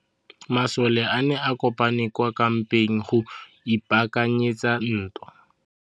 Masole a ne a kopane kwa kampeng go ipaakanyetsa ntwa.